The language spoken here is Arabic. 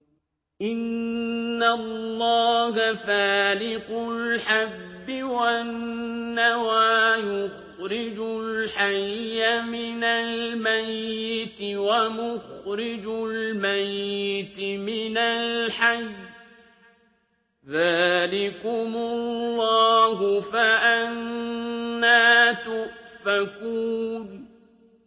۞ إِنَّ اللَّهَ فَالِقُ الْحَبِّ وَالنَّوَىٰ ۖ يُخْرِجُ الْحَيَّ مِنَ الْمَيِّتِ وَمُخْرِجُ الْمَيِّتِ مِنَ الْحَيِّ ۚ ذَٰلِكُمُ اللَّهُ ۖ فَأَنَّىٰ تُؤْفَكُونَ